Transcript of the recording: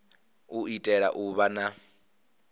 u itela u vha na